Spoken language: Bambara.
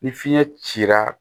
Ni fiɲɛ cira